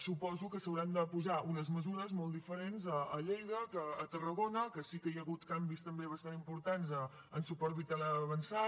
suposo que s’hauran de posar unes mesures molt diferents a lleida que a tarragona que sí que hi ha hagut canvis també bastant importants en suport vital avançat